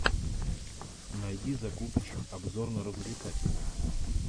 найди закупыч обзорно развлекательный